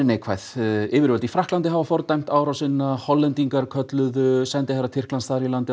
neikvæð yfirvöld í Frakklandi hafa fordæmt árásina Hollendingar hafa kallað sendiherra Tyrkja þar